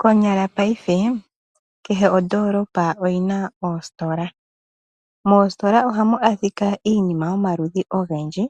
Konyala paife kehe ondoolopa oyina oositola. Moositola ohamu adhika iinima yomaludhi ogendji.